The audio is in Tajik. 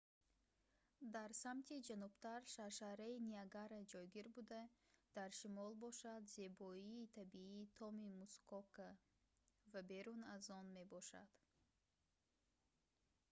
дар самти ҷанубтар шаршараи ниагара ҷойгир буда дар шимол бошад зебоии табиии томи мускока ва берун аз он мебошад